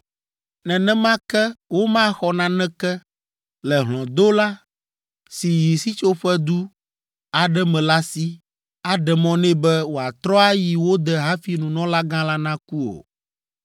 “ ‘Nenema ke womaxɔ naneke le hlɔ̃dola si yi sitsoƒedu aɖe me la si, aɖe mɔ nɛ be wòatrɔ ayi wo de hafi nunɔlagã la naku o.